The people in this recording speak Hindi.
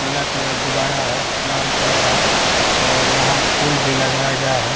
पीला कलर गुब्बारा है लाल कलर है और यहां फूल भी लगाया गया है।